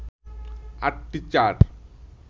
৮টি চার